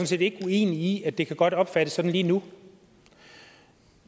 set ikke uenig i det kan godt opfattes sådan lige nu